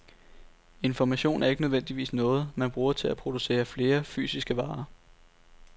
Information er ikke nødvendigvis noget, man bruger til at producere flere fysiske varer.